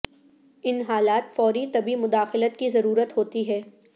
ان حالات فوری طبی مداخلت کی ضرورت ہوتی ہے